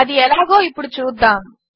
అది ఎలాగో ఇప్పుడు చూద్దాము